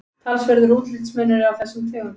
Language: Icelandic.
talsverður útlitsmunur er á þessum tegundum